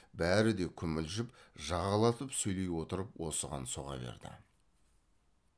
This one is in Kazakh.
бәрі де күмілжіп жағалатып сөйлеп отырып осыған соға берді